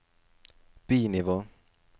bi-nivå